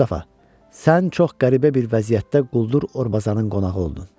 Mustafa, sən çox qəribə bir vəziyyətdə quldur Orbazan-ın qonağı oldun.